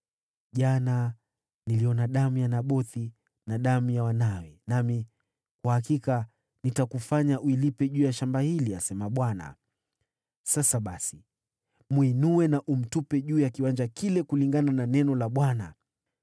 ‘Jana niliona damu ya Nabothi na damu ya wanawe, nami kwa hakika nitakufanya uilipe juu ya shamba hili, asema Bwana .’ Sasa basi, mwinue na umtupe juu ya kiwanja, kulingana na neno la Bwana .”